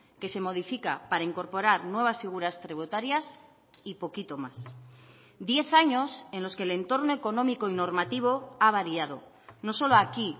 que se modifica para incorporar nuevas figuras tributarias y poquito más diez años en los que el entorno económico y normativo ha variado no solo aquí